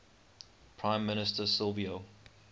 prime minister silvio